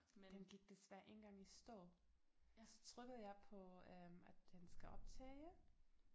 Den gik desværre en gang i stå så trykkede jeg på øh at den skal optage